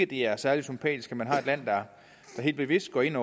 det er særlig sympatisk at man har et land der helt bevidst går ind